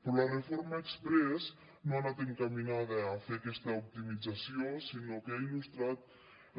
però la reforma exprés no ha anat encaminada a fer aquesta optimització sinó que ha il·lustrat